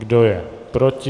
Kdo je proti?